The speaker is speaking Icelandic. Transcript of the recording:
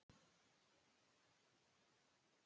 Axel, hvað er lengi opið í Símanum?